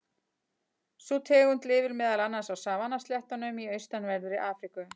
Sú tegund lifir meðal annars á savanna-sléttunum í austanverðri Afríku.